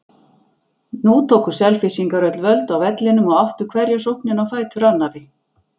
Nú tóku Selfyssingar öll völd á vellinum og áttu hverja sóknina á fætur annarri.